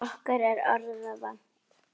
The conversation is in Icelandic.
Okkur er orða vant.